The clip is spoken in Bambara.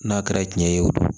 N'a kɛra cɛn ye o don